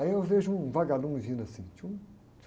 Aí eu vejo um vagalume vindo assim.